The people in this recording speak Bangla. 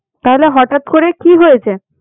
তাহলে হঠাৎ করে কি হয়েছে?